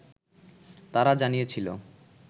তারা জানিয়েছিল